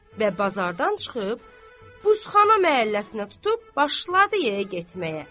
Və bazardan çıxıb buzxana məhəlləsinə tutub başladı yeyə getməyə.